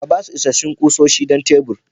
Ka ba shi isasshen kusoshi don tebur.